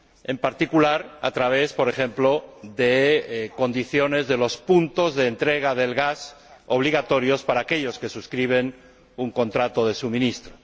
en particular a través, por ejemplo, de condiciones relativas a puntos de entrega del gas obligatorios para aquellos que suscriben un contrato de suministro.